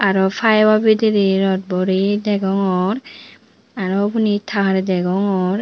aro paibo biderey rot boreye degongor aro ubani tar degongor.